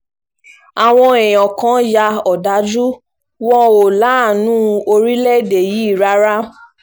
àwọn èèyàn kan ya òdájú wọn ò láàánú orílẹ̀‐èdè yìí rárá